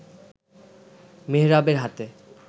মেহরাবের হাতে